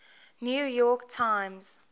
new york times